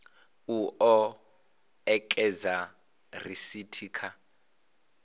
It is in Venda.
u o ekedza risithi kha